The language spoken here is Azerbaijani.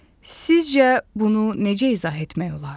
Sizcə bunu necə izah etmək olar?